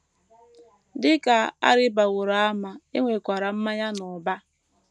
Dị ka a rịbaworo ama, e nwekwara mmanya n’ụba.